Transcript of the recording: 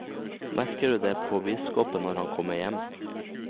Merker du det på biskopen når han kommer hjem?